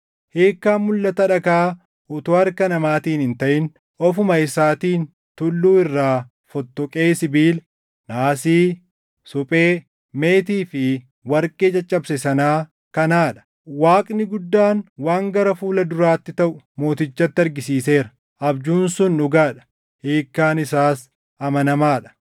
Hiikkaan mulʼata dhagaa utuu harka namaatiin hin taʼin ofuma isaatiin tulluu irraa fottoqee sibiila, naasii, suphee, meetii fi warqee caccabse sanaa kanaa dha. “Waaqni guddaan waan gara fuula duraatti taʼu mootichatti argisiiseera. Abjuun sun dhugaa dha; hiikkaan isaas amanamaa dha.”